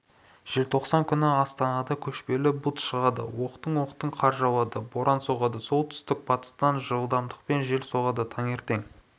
желтоқсан күні астанада көшпелі бұлт шығады оқтын-оқтын қар жауады боран соғады оңтүстік-батыстан жылдамдықпен жел соғады таңертең